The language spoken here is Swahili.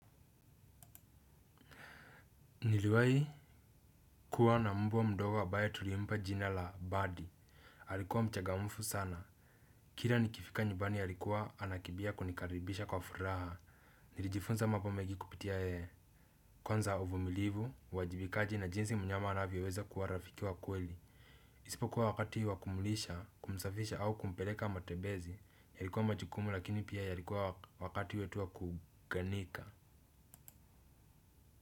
Niliwahi kuwa na mbwa mdogo ambaye tulimpa jina la Buddy. Alikuwa mchangamfu sana, kila nikifika nyumbani alikuwa anakimbia kunikaribisha kwa furaha nilijifunza mambo mengi kupitia yeye, kwanza uvumilivu, uwajibikaji na jinsi mnyama anavyoweza kuwa rafiki wa kweli isipokuwa wakati wa kumulisha, kumsafisha au kumpeleka matembezi yalikuwa majukumu lakini pia yalikuwa wakati wetu wa kuunganika.